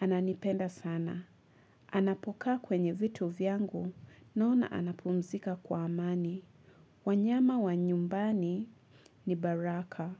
Ananipenda sana. Anapokaa kwenye vitu vyangu, naona anapumzika kwa amani. Wanyama wa nyumbani ni baraka.